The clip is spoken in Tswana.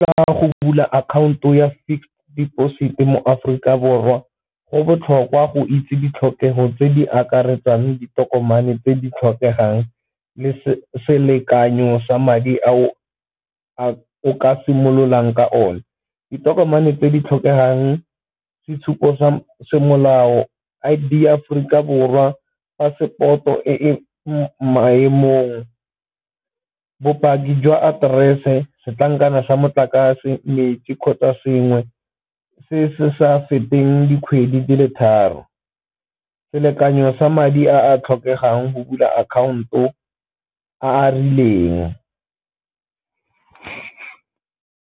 Go bula akhaonto ya fixed deposit mo Aforika Borwa go botlhokwa go itse ditlhokego tse di akaretswang ditokomane tse di tlhokegang le selekanyo sa madi a o ka simololang ka one. Ditokomane tse di tlhokegang sa semolao, I_D ya Aforika Borwa, passport-o e maemong, bopaki jwa aterese, setlankana sa motlakase, metsi kgotsa sengwe se se sa feteng dikgwedi di le tharo. Selekanyo sa madi a a tlhokegang go bula akhaonto a a rileng.